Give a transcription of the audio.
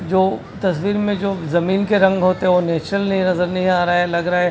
जो तस्वीर में जो जमीन के रंग होते है वह नेचुरल नहीं नजर नहीं आ रहा है लग रहा है--